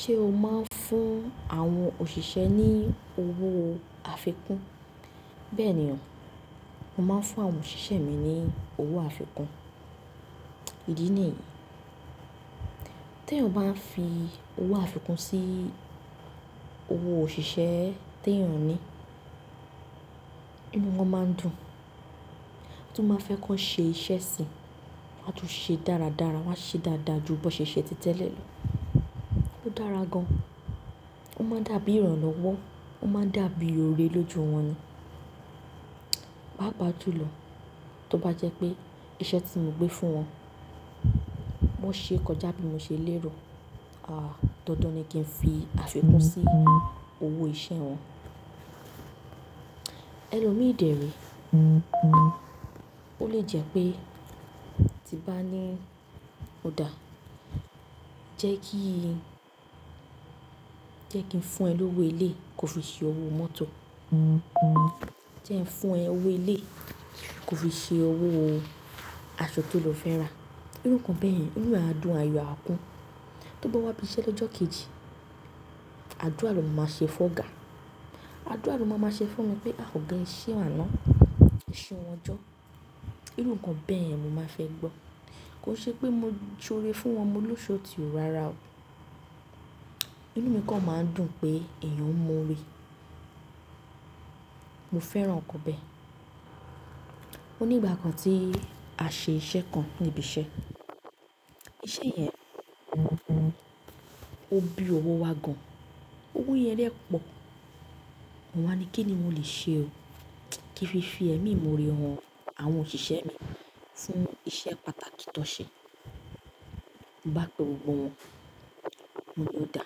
Ṣé o máa ń fún àwọn òṣìṣẹ́ ní owó àfikún? Bẹ́ẹ̀ ni o, mo máa ń fún àwọn òṣìṣẹ́ mi ní owó àfikún. Ìdí ni èyí, tí èèyàn bá fi owó àfikún sí owó òṣìṣẹ́ tí èèyàn ní, inú wọn máa dùn, tó bá fẹ́ kó ṣe iṣẹ́ síi, wọ́n á tún ṣe dáradára, wọ́n á ṣe dáadáa ju bó ṣe ṣe títẹ́lẹ̀ lọ. Ó dára gan. Ó máa dàbí ìrànlọ́wọ́, ó máa dàbí oore lójú wọn ni. Pàápàá jùlọ, tó bá jẹ́ pé iṣẹ́ tí mo gbé fún wọn, wọ́n ṣe é kọjá bí mo ṣe lérò, àáa, dandan ni kí n fi àfikún sí owó iṣẹ́ wọn. Ẹlomi de re ó lè jẹ́ pé tí bá ní ọ̀dà, jẹ́ kí n, jẹ́ kí n fún ẹ lówó ilé kó fi ṣe owó mọ́tò. Jẹ́ ẹ fún ẹ owó ilé kó fi ṣe owó aṣọ tó lọ fẹ́ rà. Irú nǹkan bẹ́ẹ̀ yẹn, inú á dùn, àyò rẹ̀ á kún. Tó bá wá ibi iṣẹ́ lọ́jọ́ kejì, àdúrà ni máa ma ṣe fún ọ̀gá àdúrà ló máa má ṣe fún mi pé a ọ̀gá ese àná, eseun jọ. Irú nǹkan bẹ́ẹ̀ yẹn mo máa fẹ́ gbọ́. Kò ṣe pé mo soore fún wọn, mo lúṣoti rárá o. Inú mi kan máa ń dùn pé èèyàn ń m'òre mo fẹ́ràn ǹkan bẹ́ẹ̀. Ó ní ìgbà kan tí a ṣe iṣẹ́ kan níbi iṣẹ́, iṣẹ́ yẹn, òbí owó wa gan. Owó yẹn dẹ́ pọ̀. Mo wá ní kí ni mo lè ṣe ó kí fi fi ẹmi mo rẹ ọ̀wọ́ àwọn òṣìṣẹ́ mi fún iṣẹ́ pàtàkì tó ṣe. Mo bá pe gbogbo wọn, pé oda.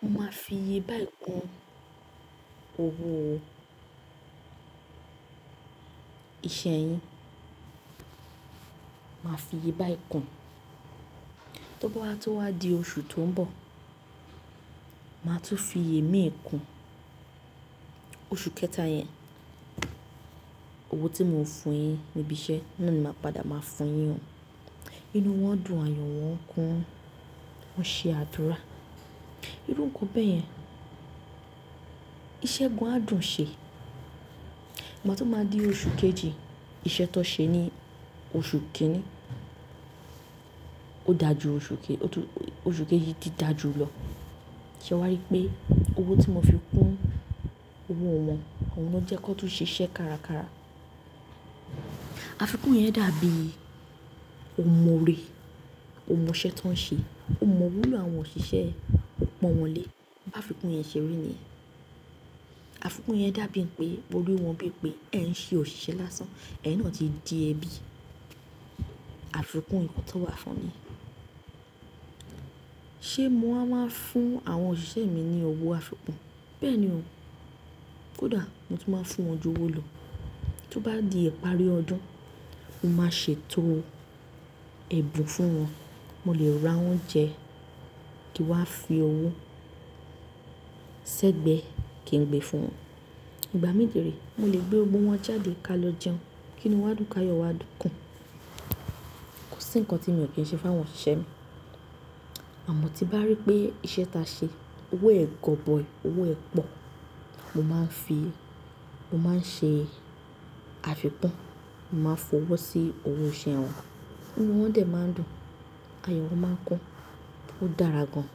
Mo máa fi iyebáyé kún owó iṣẹ́ yín. Màá fi iyebáyé kún. Tó bá tún wá di oṣù tó ń bọ̀, màá tún fi imi kún oṣù kẹta yẹn. Owó tí mo ń fún un yín níbi iṣẹ́ náà ni màá padà máa fún un yín. Inú wọn dùn, àyò wọn kún, wọ́n ṣe àdúrà. Irú nǹkan bẹ́ẹ̀ yẹn. Iṣẹ́ gan á dùn ṣe. Mo bá tún máa di oṣù kejì, iṣẹ́ tó ṣe ní oṣù kìíní ó dà jú oṣù kejì, oṣù kejì dídà jú lọ. Shey ẹ wá rí pé owó tí mo fi kún owó wọn, òun ló jẹ́ kó tún ṣe iṣẹ́ kárakára. Àfikún yẹn dàbí ò more, ò mọ iṣẹ́ tó ń ṣe, ò mọ òwúlo àwọn òṣìṣẹ́, ò pọ̀n wọ́n lé. Bí àfikún yẹn ṣeri ni yen. Àfikún yẹn dàbí pé, mo rí wọ́n bí pé ẹ ń ṣe òṣìṣẹ́ lásán, ẹyin náà ti di ẹbí. Àfikún nǹkan tó wà fún ni. Ṣé mo wa máa ń fún àwọn òṣìṣẹ́ mi ní owó àfikún? Bẹ́ẹ̀ ni o. Kódà mo tún máa ń fún wọn ju owó lọ. Tó bá di ìparí ọdún, mo máa ṣe ètò ẹ̀bùn fún wọn. Mo lè ra oúnjẹ kí wá fi owó sẹ́gbẹ̀ẹ́ kí n gbé fún wọn. Ìgbà mí de re, mo lè gbé gbogbo wọn jáde ká lọ jẹun. Kín inú wa á dùn káàyò wa tùn kún. Kò sí ǹkan tí mi ò kí ń ṣe fún àwọn òṣìṣẹ́ mi. Àmọ́ tí bá rí pé iṣẹ́ ta ṣe, owó ẹ gọ̀boyii, owó ẹ pọ̀, mo máa ń fi, mo máa ń ṣe àfikún, mo máa fowó sí owó iṣẹ́ wọn. Inú wọn dẹ̀ máa ń dùn, àyò wọn máa ń kún, ó dára gan.